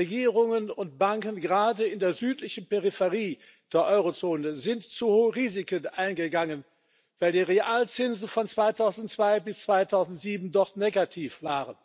Regierungen und Banken, gerade in der südlichen Peripherie der Eurozone, sind zu hohe Risiken eingegangen, weil die Realzinsen von 2002 bis 2007 dort negativ waren.